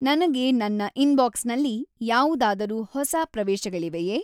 ನನಗೆ ನನ್ನ ಇನ್ಬಾಕ್ಸ್‌ನಲ್ಲಿ ಯಾವುದಾದರೂ ಹೊಸ ಪ್ರವೇಶಗಳಿವೆಯೆ?